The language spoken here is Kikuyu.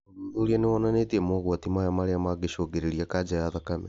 ũthuthuria nĩwonanĩtie mogwati maya marĩa mangĩcungĩrĩria kanja ya thakame